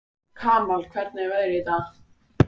Kamal, hvernig er veðrið í dag?